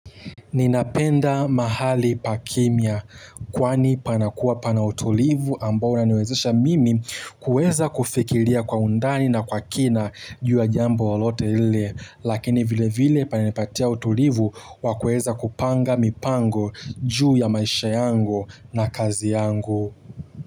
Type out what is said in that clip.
Ninapenda mahali pa kimya kwani panakuwa pana utulivu ambao unaniwezesha mimi kuweza kufikiria kwa undani na kwa kina juu ya jambo lolote lile lakini vile vile pananipatia utulivu wa kuweza kupanga mipango juu ya maisha yangu na kazi yangu.